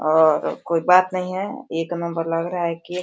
और कोई बात नहीं है। एक नंबर लग रहा है केक --